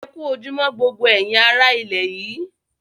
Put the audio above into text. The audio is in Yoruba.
Ẹ ku ojúmọ̀ gbogbo èyin ará ilẹ̀ yìí